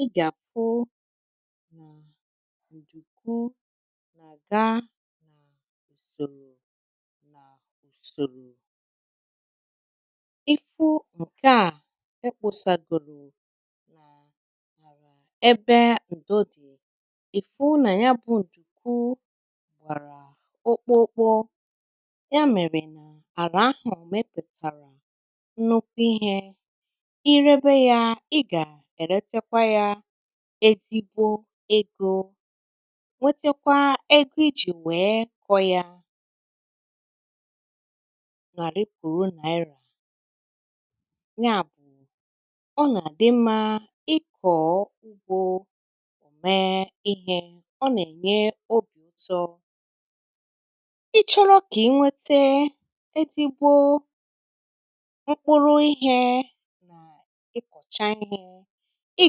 I ga-afu na ǹdùku nà-àga na ùsòrò na ùsòrò, ịfụ̇ ǹkè a ekpȯsàgòlò nà ebe ǹdo dì ìfụ̇ nà ya bụ̇ ǹdùku gbàrà òkpo òkpo ya mèrè nà àrà ahụ̀ mipùtàrà nnukwu ihė, irebe ya ị ga-eretekwa ya ezigbo egȯ nwetakwa ego ijì nwé kọ ya nàri pùru naira nya bụ̀ ọ nà dị mmȧ ịkọ̀ ugbȯ ò mee ihė ọ nà-ènye obì ụtọ, ịchọ̇rọ̇ kà enwete ezigbo mkpụrụ ihė na ịkọ̀cha ihė, ị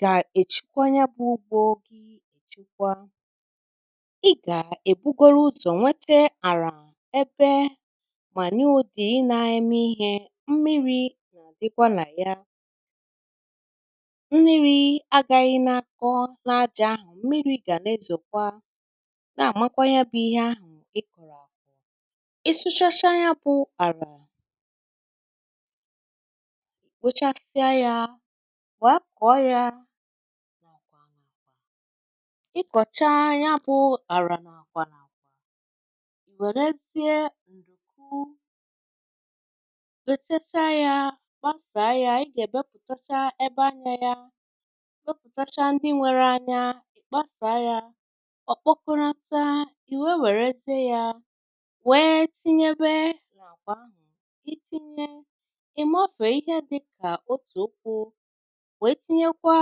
ga-echukwa ya bụ̇ ugbȯ gi ì chukwa, ị gà-èbugoro ụzọ̀ nwete àlà ebe mà nya ụ̀dị ị nȧ-ėmė ihė mmiri̇ nà-àdịkwa nà ya mmiri̇ agȧghị̇ nà-akọ na aja ahụ̀ mmiri̇ gà-na-ezòkwa na-àmakwa ya bụ̇ ihe ahụ̀ ịkọ̀rọ̀ akọ̀. ị sụchacha ya bụ̇ àlà, èkpochasịa ya wee kọ ya ikọ̀cha ya bụ̇ àrà nà-àkwa n’àkwa ì wèrezie ǹdùku wètẹ̀saa ya gbàsàa ya ị gà-èbepụ̀tacha ebe anyȧ ya wepụ̀tacha ndị nwẹrẹ anya ị̀ kpàsàa ya ọ̀ kpọkọnata ì wèe wèrezie ya wèe tinyebe na-akwa ahụ̀ itinye ị̀ maọ̀fè ihe dịkà otù ụkwụ̇ wee tinye kwa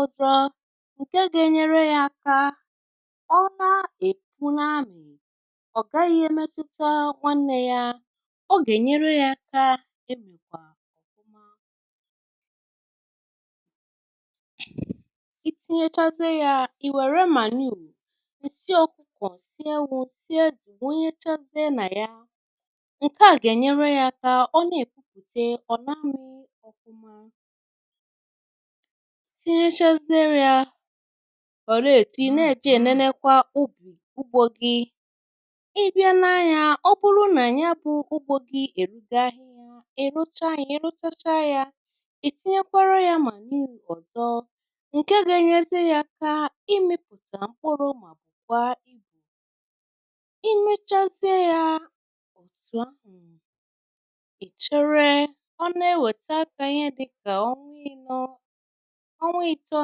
ọzọ ǹke gȧ-enyere ya aka ọ na èpu na amì ọ̀ gaghị e metuta nwanne ya, ọ gà-ènyere ya aka èmìkwà ofụma i tinyėchaziė ya ì wère manure, nsì ọ̀kụkò, nsì ewù, nsì ezi wunyechaziė nà ya ǹke à gà-ènyere ya aka ọ na-èkwupùte ọ̀ n'ami̇ ọfụma. Tinyėchaziė ya fọ̀lėtì nà-èje ènenekwa ugbù ugbȯ gi, i bịa ne anyȧ ọ bụrụ nà ya bụ̇ ugbȯ gi èrugo ahịa ị̀ rụcha ị̀ rụchachaa yȧ ì tinyekwara yȧ manure ọ̀zọ ǹke ga-enyezie yȧ akà imipùta mkpụrụ mà bukwa ibù imėchazie yȧ òtù a, ị̀chere ọ na-ewète akà ihe dịkà onwa i̇nọ ọnwa ito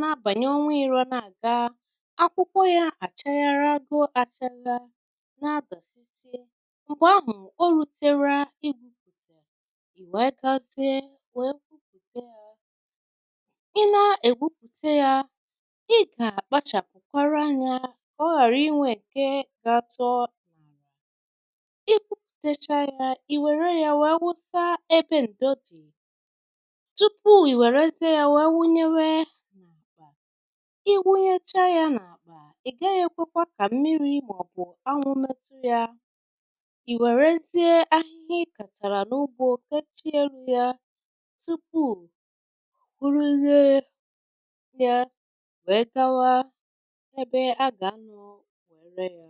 na-abanye onwa ino na-aga, akwụkwọ yȧ àchagharịago àchala na-adàsịsị m̀gbè ahù olutera igwupùte ì nwee gȧzie wee gwupùte yȧ ị nȧ-ègwupùte yȧ ị gà-àkpachàpùkwara anyȧ Ka ọ ghàra inwė ǹke ga-atọ ị kwupùtecha yȧ ì wère yȧ wee wụsa ebe ǹdo dì tupu ì wèrezie yȧ wee wunyewe n'akpa, ị wụnyecha ya n’àkpà ị gaghị ekwekwa ka mmiri ma ọ bụ anwụ metụ ya ị wèrezie ahịhịa ị kàtàrà n’ụgbọ kechie elu ya tupu kwuruye ya wee gawa ebe a gà-anụ wee re ya.